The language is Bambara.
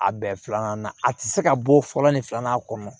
A bɛn filanan na a ti se ka bɔ fɔlɔ ni filanan kɔnɔ